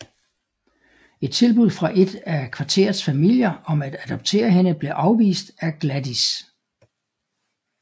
Et tilbud fra et af kvarterets familier om at adoptere hende blev afvist af Gladys